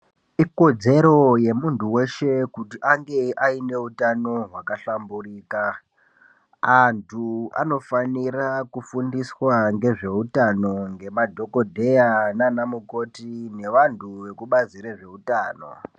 Ikodzero yemuntu weshe kuti ange aine hutano hwakahlamburika antu anofanira kufundiswa nezvehutano nemadhokodheya nana mukoti nevantu vekubazi rezvehutano.